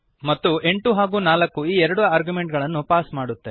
ಮತ್ತು 8 ಹಾಗೂ 4 ಈ ಎರಡು ಆರ್ಗ್ಯುಮೆಂಟುಗಳನ್ನು ಪಾಸ್ ಮಾಡುತ್ತೇವೆ